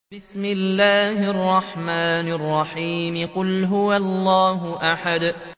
قُلْ هُوَ اللَّهُ أَحَدٌ